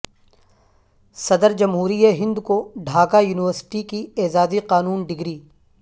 صدر جمہوریہ ہند کو ڈھاکہ یونیورسٹی کی اعزازی قانون ڈگری